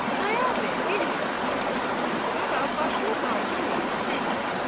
Xudayar bəy bir qədər fikirləşəndən sonra başını qaldırmayıb dedi: